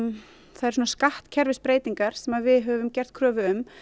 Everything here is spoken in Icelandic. þær skattkerfisbreytingar sem við höfum gert kröfu um